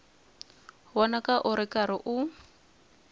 vonaka u ri karhi u